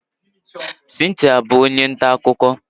Cynthia bụ onye nta akụkọ